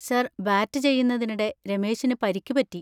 Sir bat ചെയ്യുന്നതിനിടെ രമേശിന് പരിക്ക് പറ്റി.